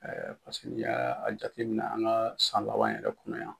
ni y'a jateminɛ an ka san laban yɛrɛ kɔnɔ yan.